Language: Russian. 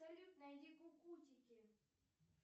салют найди кукутики